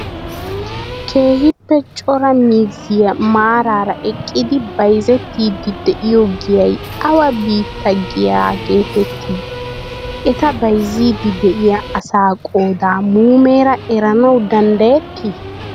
Keehippe cora miizzayi maaraara eqqidi bayizettiddi de'iyoo giyayi awa bittaa giyaa geetettii? Eta bayizziiddi de'iyaa asa qoodaa muumeera eranawu danddayetti?